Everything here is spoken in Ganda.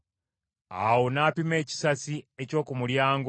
Awo n’apima ekisasi eky’oku mulyango